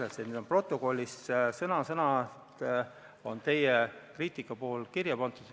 Teie kriitika on protokollis sõna-sõnalt kirja pandud.